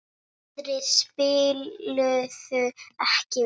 Aðrir spiluðu ekki vel.